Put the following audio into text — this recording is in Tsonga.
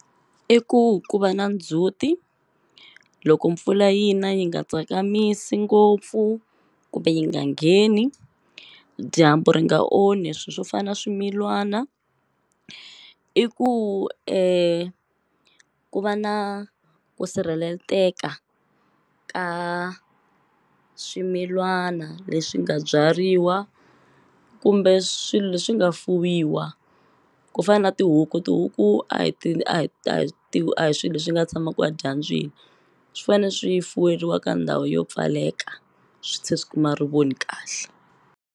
I ku ku va na ndzhuti loko mpfula yi na yi nga tsakamisi ngopfu kumbe yi nga ngheni dyambu ri nga onhi swi swo fana swimilwana i ku ku va na ku sirheleteka ka swimilwana leswi nga byariwa kumbe swilo leswi nga fuwiwa ku fana tihuku tihuku a hi a hi a hi a hi swi leswi nga tshamaku a dyambyini swi fane swi fuweriwa ka ndhawu yo pfaleka swi tshe swi kuma ri voni kahle.